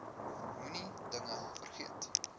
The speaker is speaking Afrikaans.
moenie dinge vergeet